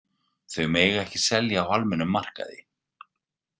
Þau má ekki selja á almennum markaði.